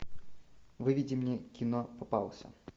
выведи мне кино попался